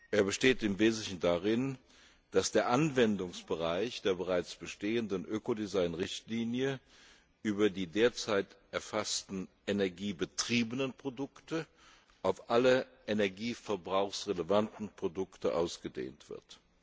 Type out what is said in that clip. Er besteht im Wesentlichen darin, dass der Anwendungsbereich der bereits bestehenden Ökodesign Richtlinie über die derzeit erfassten energiebetriebenen Produkte auf alle energieverbrauchsrelevanten Produkte ausgedehnt wird.